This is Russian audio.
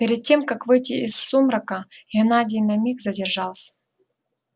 перед тем как выйти из сумрака геннадий на миг задержался